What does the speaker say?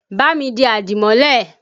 Ba mi di àdìmọ́lẹ̀!